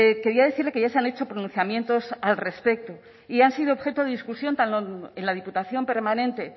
quería decirle que ya se han hecho pronunciamientos al respecto y han sido objeto de discusión tanto en la diputación permanente